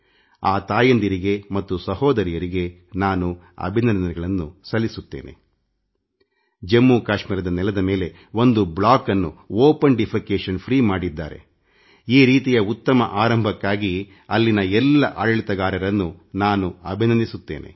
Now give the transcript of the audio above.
ಆ ತಾಯಂದಿರಿಗೆ ಮತ್ತು ಸಹೋದರಿಯರಿಗೆ ನಾನು ಅಭಿನಂದನೆಗಳನ್ನು ಸಲ್ಲಿಸುತ್ತೇನೆ ಜಮ್ಮುಕಾಶ್ಮೀರದ ನೆಲದ ಮೇಲೆ ಒಂದು ಬ್ಲಾಕನ್ನುಬಯಲು ಶೌಚ ಮುಕ್ತಮಾಡಿದ್ದಾರೆ ಈ ರೀತಿಯ ಉತ್ತಮ ಆರಂಭಕ್ಕಾಗಿ ಅಲ್ಲಿನ ಎಲ್ಲ ಆಡಳಿತಗಾರರನ್ನೂ ನಾನು ಅಭಿನಂದಿಸುತ್ತೇನೆ